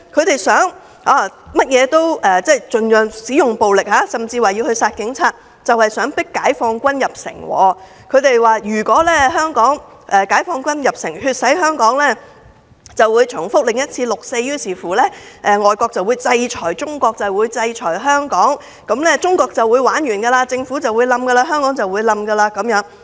他們用盡暴力，甚至聲言要殺警察，就是想迫解放軍入城，以為解放軍入城血洗香港會重演六四，令外國制裁中國、制裁香港，屆時中國便"玩完"，政府會倒台，香港亦會倒下。